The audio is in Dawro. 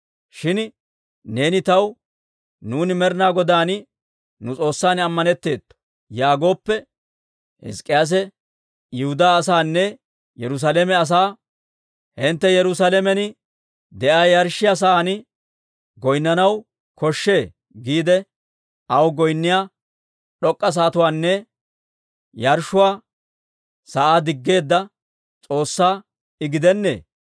«Shin neeni taw, ‹Nuuni Med'ina Godan nu S'oossan ammanetteetto› yaagooppe, Hizk'k'iyaase Yihudaa asaanne Yerusaalame asaa, ‹Hintte Yerusaalamen de'iyaa yarshshiyaa sa'aan goynnanaw koshshe› giide, aw goynniyaa d'ok'k'a sa'atuwaanne yarshshuwaa sa'aa diggeedda S'oossaa I gidennee?